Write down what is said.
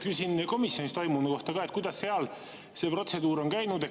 Küsin komisjonis toimunu kohta, kuidas seal see protseduur on käinud.